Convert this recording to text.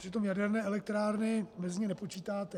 Přitom jaderné elektrárny mezi ně nepočítáte.